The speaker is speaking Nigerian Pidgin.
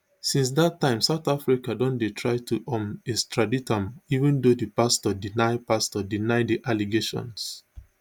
since dat time south africa don dey try to um extradite am even though di pastor deny pastor deny di allegations